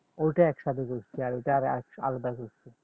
ওটা একসাথে ঘুরছি আর ওটার আলাদা ঘুরছি